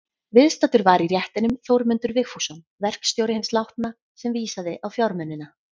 Viðstaddur var í réttinum Þórmundur Vigfússon, verkstjóri hins látna, sem vísaði á fjármunina.